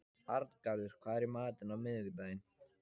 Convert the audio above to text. Arngarður, hvað er í matinn á miðvikudaginn?